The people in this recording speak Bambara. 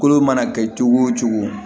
Kolo mana kɛ cogo o cogo